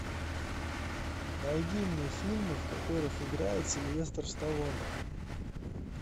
найди мне фильмы в которых играет сильвестр сталлоне